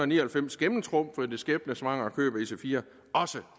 ni og halvfems gennemtrumfede det skæbnesvangre køb af ic4 også